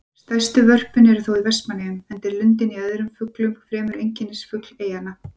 Stærstu vörpin eru þó í Vestmannaeyjum, enda er lundinn öðrum fuglum fremur einkennisfugl eyjanna.